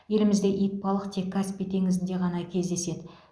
елімізде итбалық тек каспий теңізінде ғана кездеседі